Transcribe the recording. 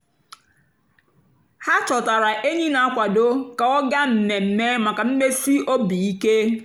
há chọtárá ényí nà-àkwádó kà ọ́ gáá mmèmme màkà mmèsì óbì íké.